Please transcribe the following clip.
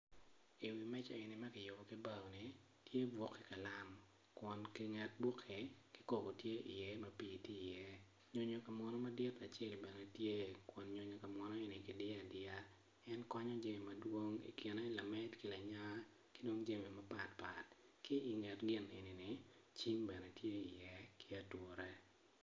Iwi meja eni ma kiyubo ki baoni tye buk ki kalam kun inget bukki kikobo tye iye ma pii tye iye nyonyo pa munu madit acel bene tye nyonyo pa munu ma kudiyo adiya en konyo jami madwong i kine lamed ki lanya ki dong jami mapat pat ki inget gin enini cim bene tye iye ki ature.